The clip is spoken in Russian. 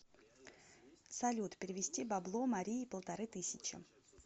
салют перевести бабло марии полторы тысячи